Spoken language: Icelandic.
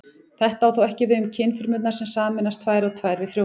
Þetta á þó ekki við um kynfrumur sem sameinast tvær og tvær við frjóvgun.